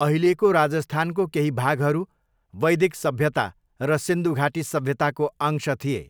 अहिलेको राजस्थानको केही भागहरू वैदिक सभ्यता र सिन्धु घाटी सभ्यताको अंश थिए।